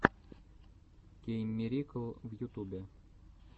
кейммирикл в ютубе